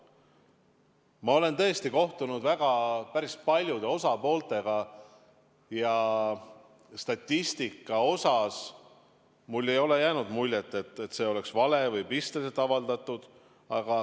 Ma olen kohtunud päris paljude osapooltega ja statistika osas ei ole mulle jäänud muljet, et see oleks vale või et seda oleks pisteliselt avaldatud.